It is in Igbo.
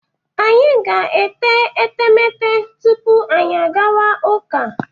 Anyị ga-ete etemete tupu anyị agawa ụka.